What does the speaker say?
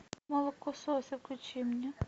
молокососы включи мне